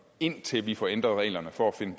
indtil vi får ændret reglerne for at finde